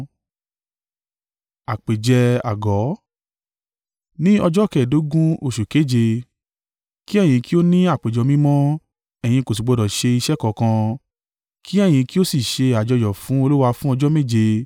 “ ‘Ní ọjọ́ kẹ́ẹ̀dógún oṣù keje, kí ẹ̀yin kí ó ní àpéjọ mímọ́, ẹ̀yin kò sì gbọdọ̀ ṣe iṣẹ́ kankan. Kí ẹ̀yin kí ó sì ṣe àjọyọ̀ fún Olúwa fún ọjọ́ méje.